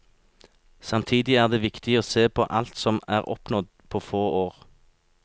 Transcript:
Samtidig er det viktig å se på alt som er oppnådd på få år.